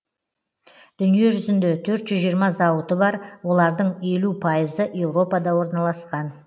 дүниежүзінде төрт жүз жиырма зауыты бар олардың елу пайызы еуропада орналасқан